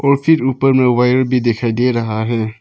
और फिर ऊपर में वायर भी दिखाई दे रहा है।